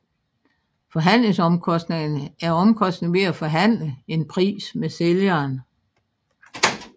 Forhandlingsomkostningerne er omkostningen ved at forhandle en pris med sælgeren